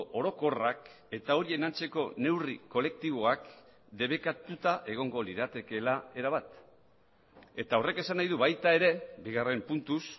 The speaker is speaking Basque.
orokorrak eta horien antzeko neurri kolektiboak debekatuta egongo liratekeela erabat eta horrek esan nahi du baita ere bigarren puntuz